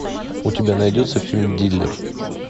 у тебя найдется фильм дилер